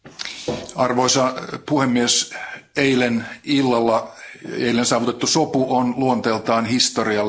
Arvoisa puhemies, eilen illalla saavutettu sopu on luonteeltaan historiallinen.